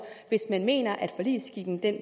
hvis man mener at forligsskikken